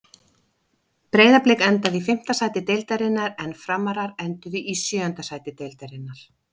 Breiðablik endaði í fimmta sæti deildarinnar en Framarar enduðu í sjöunda sæti deildarinnar.